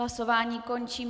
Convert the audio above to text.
Hlasování končím.